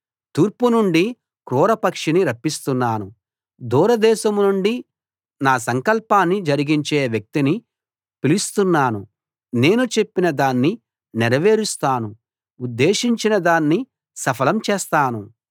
తూర్పు నుండి క్రూరపక్షిని రప్పిస్తున్నాను దూరదేశం నుండి నా సంకల్పాన్ని జరిగించే వ్యక్తిని పిలుస్తున్నాను నేను చెప్పిన దాన్ని నెరవేరుస్తాను ఉద్దేశించినదాన్ని సఫలం చేస్తాను